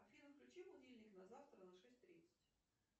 афина включи будильник на завтра на шесть тридцать